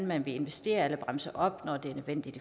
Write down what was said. man vil investere eller bremse op når det er nødvendigt